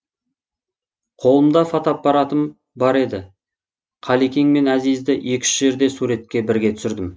қолымда фотоаппаратым бар еді қалекең мен әзизді екі үш жерде суретке бірге түсірдім